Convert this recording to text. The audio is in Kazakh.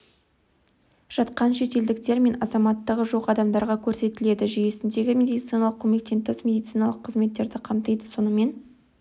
жатқан шетелдіктер мен азаматтығы жоқ адамдарға көрсетіледі жүйесіндегі медициналық көмек тыс медициналық қызметтерді қамтиды сонымен